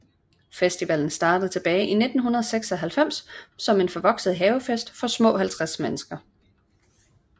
Festivalen startede tilbage i 1996 som en forvokset havefest for små 50 mennesker